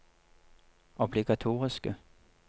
obligatoriske